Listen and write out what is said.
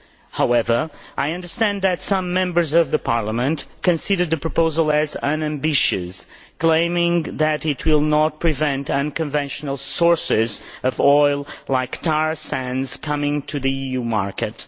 However, I understand that some Members of this Parliament consider the proposal unambitious, claiming that it will not prevent unconventional sources of oil such as tar sands coming onto the EU market.